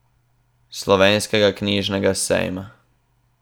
Slovenskega knjižnega sejma.